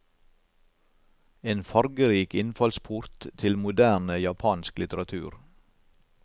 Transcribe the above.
En fargerik innfallsport til moderne japansk litteratur.